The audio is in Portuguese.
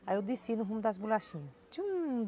Aí eu desci no rumo das bolachinhas.